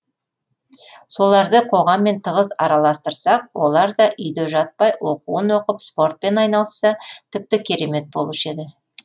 соларды қоғаммен тығыз араластырсақ олар да үйде жатпай оқуын оқып спортпен айналысса тіпті керемет болушы еді